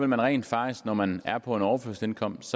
man rent faktisk når man er på en overførselsindkomst